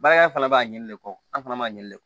Baara in fana b'a ɲini de kɔ an fana b'a ɲini de